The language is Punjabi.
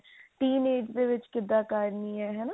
teen age ਦੇ ਵਿੱਚ ਕਿਦਾਂ ਕਰਨੀ ਹੈ ਹਨਾ